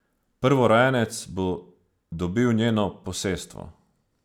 Prvorojenec bo dobil njeno posestvo.